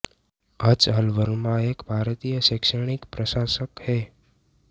H L Verma एक भारतीय शैक्षणिक प्रशासक है